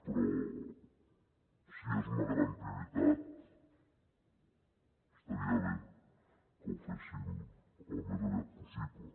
però si és una gran prioritat estaria bé que ho féssim al més aviat possible